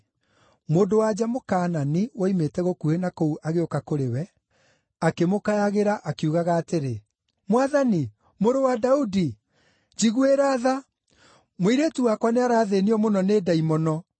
Mũndũ-wa-nja Mũkaanani woimĩte gũkuhĩ na kũu agĩũka kũrĩ we, akĩmũkayagĩra, akiugaga atĩrĩ, “Mwathani, Mũrũ wa Daudi, njiguĩra tha! Mũirĩtu wakwa nĩarathĩĩnio mũno nĩ ndaimono.”